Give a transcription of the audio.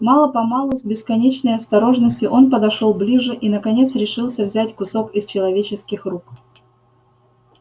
мало помалу с бесконечной осторожностью он подошёл ближе и наконец решился взять кусок из человеческих рук